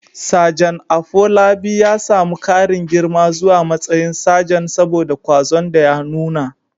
Sajan Afolabi ya samu ƙarin girma zuwa matsayin sajan saboda ƙwazon da ya nuna.